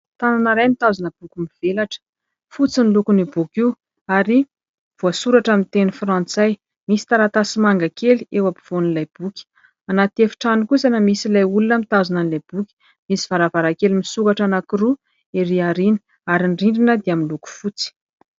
Tanana iray mitazona boky mivelatra, fotsy ny lokon'io boky io ary, voasoratra amin'ny teny frantsay. Misy taratasy manga kely eo ampovoan'ilay boky. Anaty efitrano kosa no misy ilay olona mitazona ilay boky. Misy varavarakely misokatra anankiroa ery arina, ary ny rindrina dia miloko fotsy.